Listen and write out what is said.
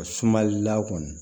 Sumalila kɔni